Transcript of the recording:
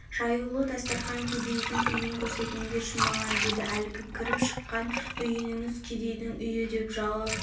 жаюлы дастарқан кедейдің үйін көрсетіңдерші маған деді әлгі кіріп шықкан үйіңіз кедейдің үйі деп жауап